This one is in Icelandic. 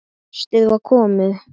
Haustið var komið.